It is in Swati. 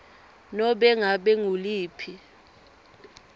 nobe ngabe nguliphi